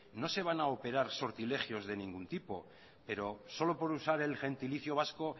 no se van a operar sortilegios de ningún tipo pero solo por usar el gentilicio vasco